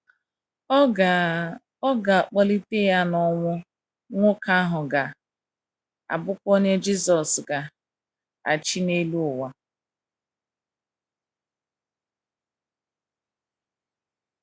Ọ ga - Ọ ga - akpọlite ya n'ọnwụ, nwoke ahụ ga - abụkwa onye Jisọs ga - achị n’elu ụwa.